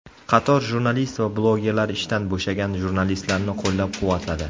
Qator jurnalist va blogerlar ishdan bo‘shagan jurnalistlarni qo‘llab-quvvatladi.